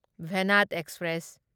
Venad express